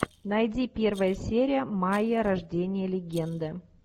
найди первая серия майя рождение легенды